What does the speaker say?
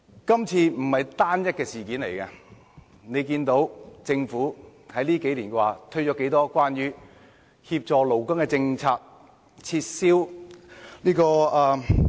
今次不是單一的事件，看看政府近數年推行了多少協助勞工的政策？